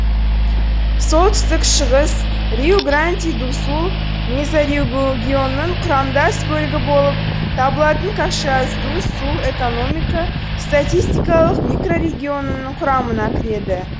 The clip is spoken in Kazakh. солтүстік шығыс риу гранди ду сул мезорегионының құрамдас бөлігі болып табылатын кашиас ду сул экономика статистикалық микрорегионының құрамына кіреді